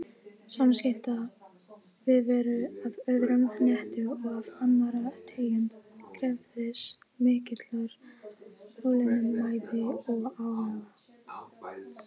Samskipti við veru af öðrum hnetti og af annarri tegund krefðist mikillar þolinmæði og áhuga.